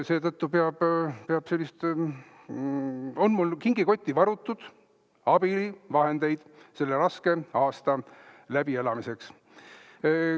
Seetõttu on mul kingikotti varutud abivahendeid selle raske aasta üleelamiseks.